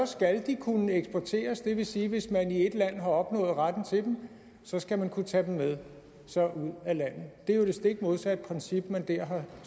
skal de kunne eksporteres det vil sige at hvis man i et land har opnået retten til dem skal man kunne tage dem med sig ud af landet det er jo det stik modsatte princip man der har